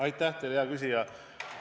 Aitäh teile, hea küsija!